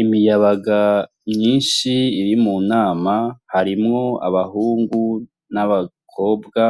Imiyabaga myinshi iri mu nama harimwo abahungu n'abakobwa